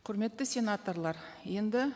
құрметті сенаторлар енді